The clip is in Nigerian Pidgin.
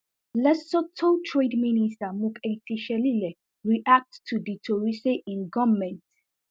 lesoto trade minister mokhei shelile react to di tori say im goment